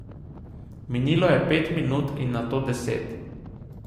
Minilo je pet minut in nato deset.